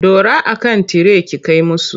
Dora a kan tire ki kai musu!